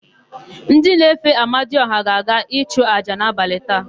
Ndị na-efe amadiọha ga-aga ịchụ àjà n'abalị taa.